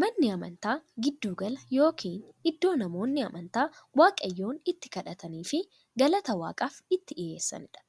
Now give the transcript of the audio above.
Manni amantaa giddu gala yookiin iddoo namoonni amantaa waaqayyoon itti kadhataniifii galata waaqaaf itti dhiyeessaniidha.